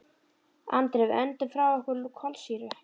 Andri: Við öndum frá okkur kolsýru.